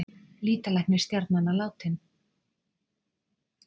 Lýtalæknir stjarnanna látinn